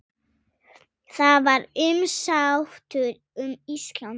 Það var umsátur um Ísland.